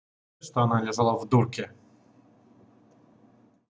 что она лежала в дурке